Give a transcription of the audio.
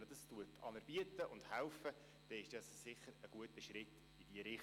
Ihnen dies anzubieten und ihnen dabei zu helfen, ist sicherlich ein guter Schritt in diese Richtung.